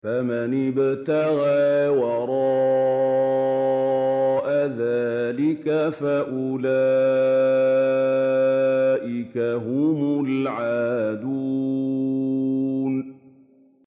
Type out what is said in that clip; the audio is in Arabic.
فَمَنِ ابْتَغَىٰ وَرَاءَ ذَٰلِكَ فَأُولَٰئِكَ هُمُ الْعَادُونَ